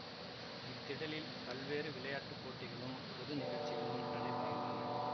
இத்திடலில் பல்வேறு விளையாட்டு போட்டிகளும் பொது நிகழ்ச்சிகளும் நடைபெறுகின்றன